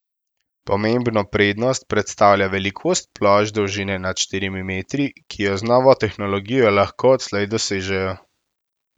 Pomembno prednost predstavlja velikost plošč dolžine nad štirimi metri, ki jo z novo tehnologijo lahko odslej dosežejo.